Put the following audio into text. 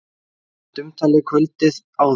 Samkvæmt umtali kvöldið áður!